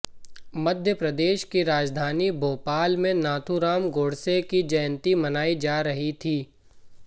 मध्यप्रदेश की राजधानी भोपाल में नाथूराम गोडसे की जयंती मनाई जा रही थी